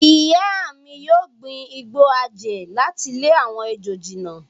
Ìyá mi yóò gbin igbó àjẹ́ láti lé àwọn ejò jìnnà.